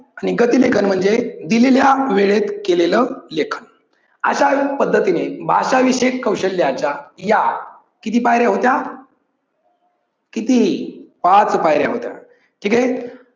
आणि गती लेखन म्हणजे दिलेल्या वेळेत केलेल लेखन. अश्या पद्धतीने भाषा विषयक कौशल्याचा या किती पायऱ्या होत्या? किती? पाच पायऱ्या होत्या. ठीक आहे.